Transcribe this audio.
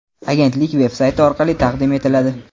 agentlik veb-sayti orqali taqdim etiladi.